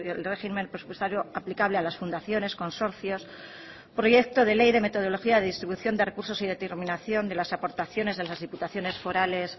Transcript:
el régimen presupuestario aplicable a las fundaciones consorcios proyecto de ley de metodología de distribución de recursos y determinación de las aportaciones en las diputaciones forales